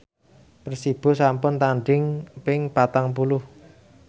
Persibo sampun tandhing ping patang puluh